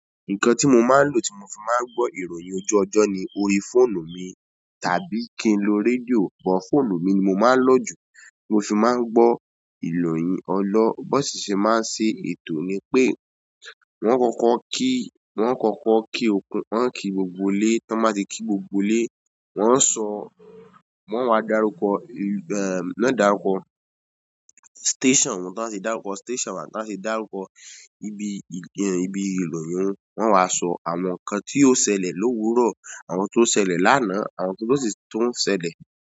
Nǹkan tí mo máa ń lò tí mo fi máa ń gbo ìròyìn ojú ọjọ́ ni kin lo fóònù mi, tàbí kí n lo rédíò, but fóònù mi ni mo máa ń lò jù. Mo fin máa ń gbọ́ ìloyin ọlo Bọ́ọ̀sì sì máa ń ṣe ètò ni pé wọ́n kọ́kọ́ kí, wọ́n kọ́kọ́ kí okùn, wọ́n kí gbogbo ilé, tí wọ́n bá ti kí gbogbo lé, wọ́n ń so wọ́n wá dárúkọ, eh, wọ́n dárúkọ station wọn, tí wọ́n ṣe dárúkọ station won, tí wọ́n ṣe dárúkọ ibi, ibi ìròyìn wọn, wọ́n wá sọ àwọn nǹkan tí ó ṣẹlẹ̀ lówurọ̀, àwọn tí ó ṣẹlẹ̀ lana, àwọn tí ló ṣé, tó ń ṣẹlẹ̀.